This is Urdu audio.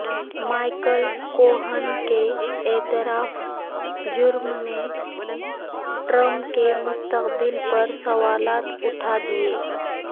مائیکل کوہن کے اعتراف جرم نے ٹرمپ کے مستقبل پر سوالات اٹھا دیے